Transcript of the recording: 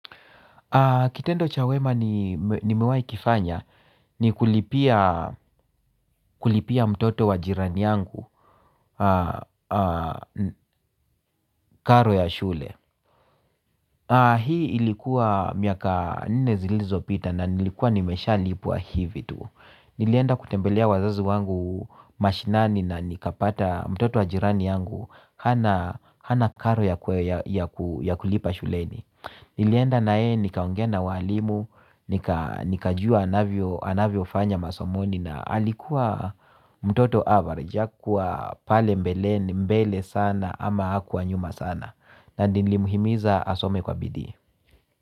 Kitendo cha wema nimewahi kufanya ni kulipia mtoto wa jirani yangu karo ya shule. Hii ilikuwa miaka nne zilizopita na nilikuwa nimeshalipwa hivi tu. Nilienda kutembelea wazazi wangu mashinani na nikapata mtoto wa jirani yangu hana. Hana karo ya kulipa shuleni. Nilienda naye nikaongea na walimu, nikajua anavyofanya masomoni na alikuwa mtoto average hakuwa pale mbele sana ama hakuwa nyuma sana na nilimhimiza asome kwa bidii.